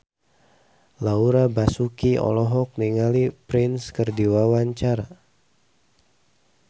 Laura Basuki olohok ningali Prince keur diwawancara